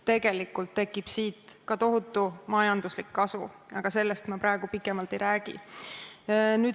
Tegelikult tekib siit ka tohutu majanduslik kasu, aga sellest ma praegu pikemalt ei räägi.